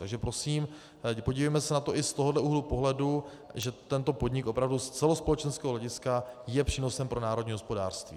Takže prosím, podívejme se na to i z tohoto úhlu pohledu, že tento podnik opravdu z celospolečenského hlediska je přínosem pro národní hospodářství.